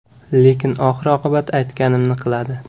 Lekin oxir-oqibat aytganimni qiladi.